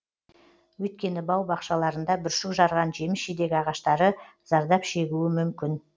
өйткені бау бақшаларында бүршік жарған жеміс жидек ағаштары зардап шегуі мүмкін